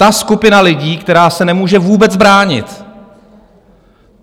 Ta skupina lidí, která se nemůže vůbec bránit!